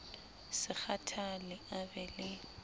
se kgathale a be le